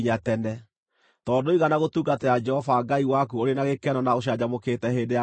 Tondũ ndũigana gũtungatĩra Jehova Ngai waku ũrĩ na gĩkeno na ũcanjamũkĩte hĩndĩ ya ũgaacĩru,